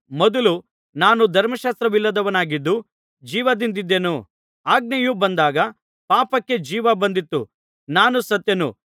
ಮೊದಲು ನಾನು ಧರ್ಮಶಾಸ್ತ್ರವಿಲ್ಲದವನಾಗಿದ್ದು ಜೀವದಿಂದಿದ್ದೆನು ಆಜ್ಞೆಯು ಬಂದಾಗ ಪಾಪಕ್ಕೆ ಜೀವ ಬಂದಿತು ನಾನು ಸತ್ತೆನು